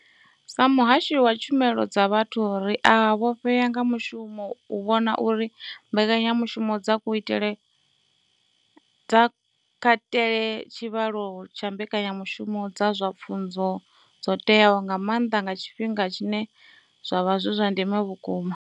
Sa muhashi wa tshumelo dza vhathu, ri a vhofhea nga mushumo u vhona uri mbekanya mushumo dzi katele tshivhalo tsha mbekanya mushumo dza zwa pfunzo dzo teaho, nga maanḓa nga tshifhinga tshine zwa vha zwa ndeme vhukuma.